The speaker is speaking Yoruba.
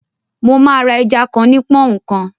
Mo máa ra ẹja kan ní pọ́ọ́úǹ kan